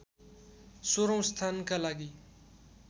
१६औं स्थानका लागि